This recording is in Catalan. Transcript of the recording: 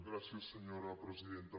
gràcies senyora presidenta